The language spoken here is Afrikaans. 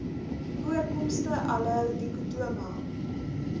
voorkomste aloe dichotoma